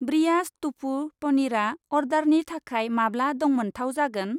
Breyers टफु पनिरआ अर्डारनि थाखाय माब्ला दंमोनथाव जागोन?